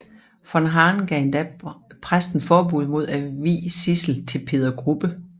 Von Hahn gav endda præsten forbud mod at vie Sidsel til Peder Grubbe